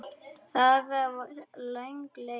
Það var löng leið.